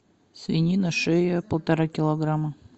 свинина шея полтора килограмма